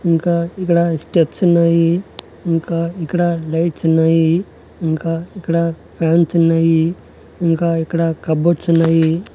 ఇంకా ఇక్కడ స్టెప్స్ ఉన్నాయి ఇంకా ఇక్కడ లైట్స్ ఉన్నాయి ఇంకా ఇక్కడ ఫ్యాన్స్ ఉన్నాయి ఇంకా ఇక్కడ కబోర్డ్స్ ఉన్నాయి.